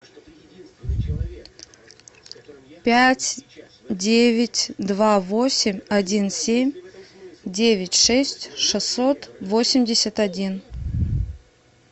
пять девять два восемь один семь девять шесть шестьсот восемьдесят один